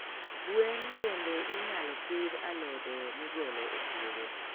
gwen mbende inyalo pidh alode migolo e pudho.